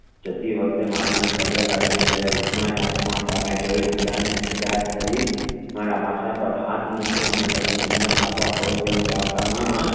જતી વખતે મામા ને પગે લગિયો ત્યરેહ મામા એ આસમાન સહમે જોઈ ખુદા ને યાદ કરી મારા માથા પર હાથ મુકિયો અને પછી હિમ્મત